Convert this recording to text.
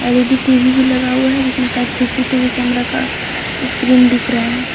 L E D TV भी लगा हुआ है जिसमें शायद सी_सी टी_वी कैमरा का स्क्रीन दिख रहा है।